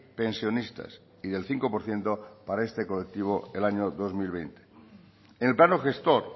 pensionistas y del cinco por ciento para este colectivo el año dos mil veinte en el plano gestor